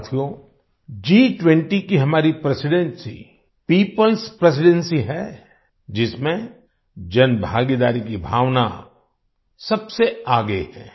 साथियो G20 की हमारी प्रेसिडेंसी peopleएस प्रेसिडेंसी है जिसमें जनभागीदारी की भावना सबसे आगे है